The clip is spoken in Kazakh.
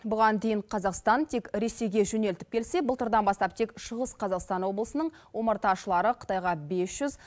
бұған дейін қазақстан тек ресейге жөнелтіп келсе былтырдан бастап тек шығыс қазақстан облысының омарташылары қытайға бес жүз